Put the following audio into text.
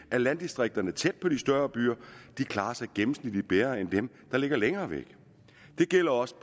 at landdistrikterne tæt på de større byer gennemsnitligt bedre end dem der ligger længere væk det gælder også